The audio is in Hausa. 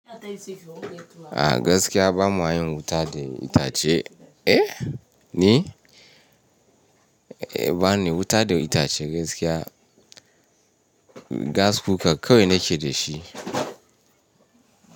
A gaskiya bama yin wuta da itace. Eh ni? Eh bani wuta da itace gaskiya. Gas cooker kawai nake da shi.